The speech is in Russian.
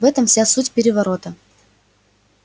в этом вся суть переворота